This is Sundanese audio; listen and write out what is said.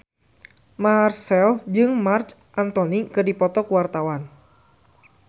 Marchell jeung Marc Anthony keur dipoto ku wartawan